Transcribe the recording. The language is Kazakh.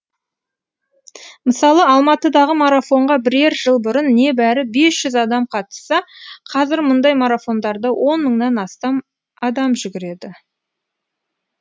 мысалы алматыдағы марафонға бірер жыл бұрын небәрі бес жүз адам қатысса қазір мұндай марафондарда он мыңнан астам адам жүгіреді